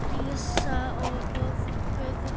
Lísa og Böðvar.